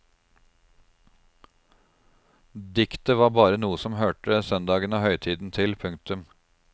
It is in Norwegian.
Diktet var bare noe som hørte søndagen og høytiden til. punktum